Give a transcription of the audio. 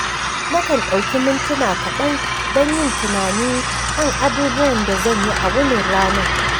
Nakan ɗauki mintuna kaɗan don yin tunani kan abubuwan da zan yi a wunin ranar